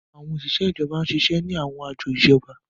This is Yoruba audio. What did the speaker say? Àwọn oṣiṣẹ ijọba n ṣiṣẹ ni àwọn ajọ ijọba.